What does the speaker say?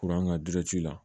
Kuran ka la